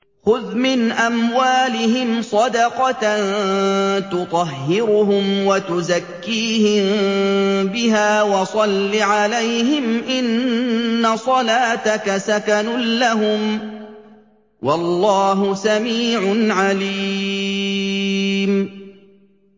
خُذْ مِنْ أَمْوَالِهِمْ صَدَقَةً تُطَهِّرُهُمْ وَتُزَكِّيهِم بِهَا وَصَلِّ عَلَيْهِمْ ۖ إِنَّ صَلَاتَكَ سَكَنٌ لَّهُمْ ۗ وَاللَّهُ سَمِيعٌ عَلِيمٌ